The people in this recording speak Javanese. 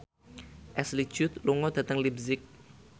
Ashley Judd lunga dhateng leipzig